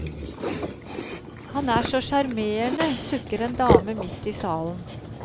Han er så sjarmerende, sukker en dame midt i salen.